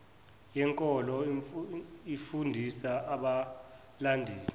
yenkolo ifundisa abalandeli